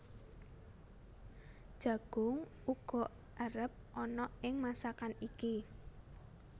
Jagung uga erep ana ing masakan iki